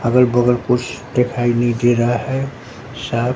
अगल बगल कुछ दिखाई नहीं दे रहा है सब--